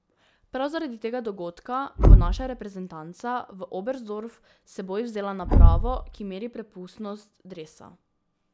Prav zaradi tega dogodka bo naša reprezentanca v Oberstdorf s seboj vzela napravo, ki meri prepustnost dresa.